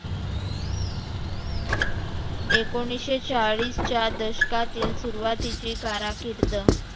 एकोणीसशे चाळीसच्या दशकातील सुरुवातीची काराकिर्द.